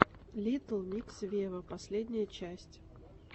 литтл микс вево последняя часть